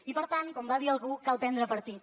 i per tant com va dir algú cal prendre partit